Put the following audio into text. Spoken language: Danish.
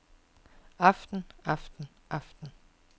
aften aften aften